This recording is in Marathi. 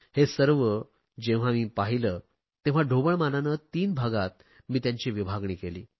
हे सर्व जेव्हा मी पाहिले तेव्हा ढोबळ मनाने तीन भागात मी त्यांची विभागणी केली